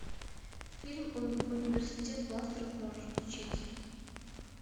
фильм университет монстров можешь включить